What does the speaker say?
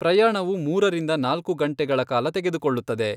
ಪ್ರಯಾಣವು ಮೂರರಿಂದ ನಾಲ್ಕು ಗಂಟೆಗಳ ಕಾಲ ತೆಗೆದುಕೊಳ್ಳುತ್ತದೆ.